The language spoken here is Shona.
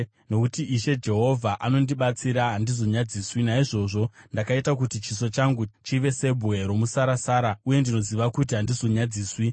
Nokuti Ishe Jehovha anondibatsira, handizonyadziswi. Naizvozvo ndakaita kuti chiso changu chive sebwe romusarasara, uye ndinoziva kuti handizonyadziswi.